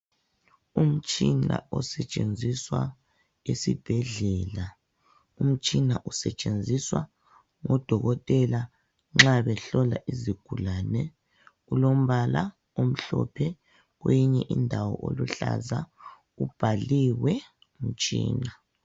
Umtshina osetshenziswa esibhedlela, umtshina usetshenziswa nxa odokotela behlola izigulane. Ulombala omhlophe kwenye indawo oluhlaza, ubhaliwe umtshina.